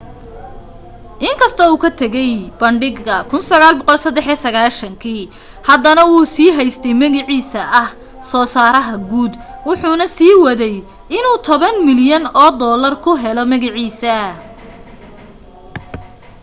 in kastoo uu ka tegay bandhiga 1993 haddana wuu sii haystay magaciisa ah soo saaraha guud wuxuna sii waday inuu tobaan milyan oo doolar ku helo magaciisii